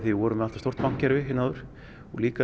við vorum með allt of stórt bankakerfi hérna áður en líka